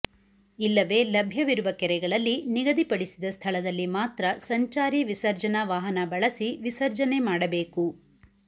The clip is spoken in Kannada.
ಇಲ್ಲವೇ ಲಭ್ಯವಿರುವ ಕೆರೆಗಳಲ್ಲಿ ನಿಗದಿಪಡಿಸಿದ ಸ್ಥಳದಲ್ಲಿ ಮಾತ್ರ ಸಂಚಾರಿ ವಿಸರ್ಜನಾ ವಾಹನ ಬಳಸಿ ವಿಸರ್ಜನೆ ಮಾಡಬೇಕು